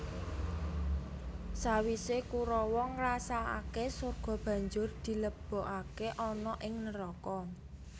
Sawise Kurawa ngrasakake sorga banjur dilebokake ana ing neraka